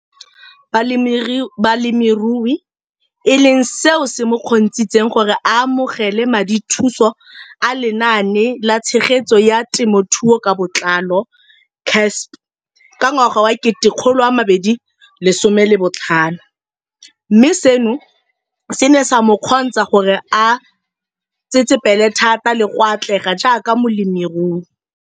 Balemirui e leng seo se mo kgontshitseng gore a amogele madithuso a Lenaane la Tshegetso ya Te mothuo ka Botlalo CASP ka ngwaga wa 2015, mme seno se ne sa mo kgontsha gore a tsetsepele thata le go atlega jaaka molemirui.